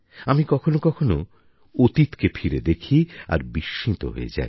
আমি কখনও কখনও অতীতকে ফিরে দেখি আর বিস্মিত হয়ে যাই